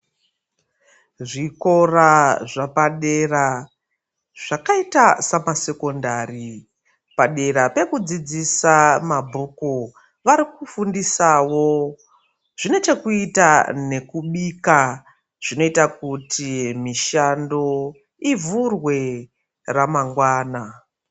Zvikora zvepadera zvakaita semasekonari padera pekudzidzisa mabhuku variku fundisawo zvine chekuita nekubika zvinoita kuti mushando ivhurwe mune ramangwani.